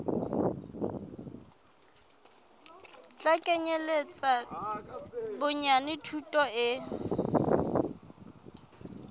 tla kenyeletsa bonyane thuto e